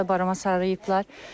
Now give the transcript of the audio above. Çox gözəl barama sarıyıblar.